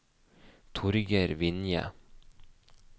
Torgeir Vinje